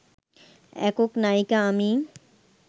একক নায়িকা আমি